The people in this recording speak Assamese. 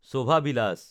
শোভা ভিলাচ